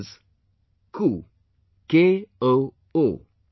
Its name is ku KOO